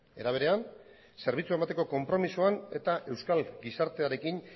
era berean zerbitzua emateko konpromisoan eta euskal gizartearekin